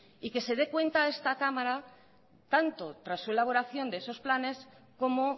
y que se de cuenta esta cámara tanto tras su elaboración de esos planes como